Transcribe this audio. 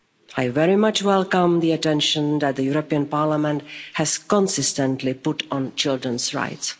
I very much welcome the attention that the European Parliament has consistently put on children's rights.